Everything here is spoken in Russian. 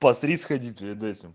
посри сходи перед этим